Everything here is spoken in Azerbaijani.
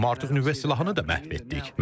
Amma artıq nüvə silahını da məhv etdik.